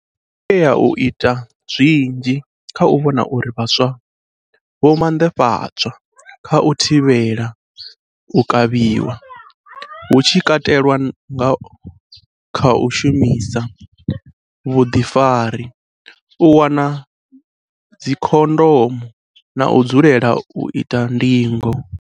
Ri khou tea u ita zwinzhi kha u vhona uri vhaswa vho manḓafhadzwa kha u thivhela u kavhiwa, hu tshi katelwa nga kha u shandukisa vhuḓifari, u wana dzikhondomu na u dzulela u ita ndingo.